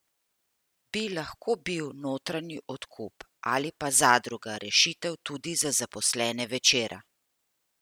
Bi lahko bil notranji odkup ali pa zadruga rešitev tudi za zaposlene Večera?